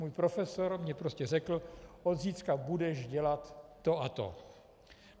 Můj profesor mi prostě řekl "od zítřka budeš dělat to a to".